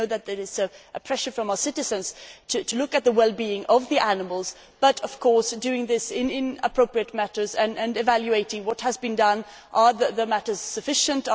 We know that there is pressure from our citizens to look at the well being of the animals but, of course, doing this in an appropriate way and evaluating what has been done. Are the provisions sufficient?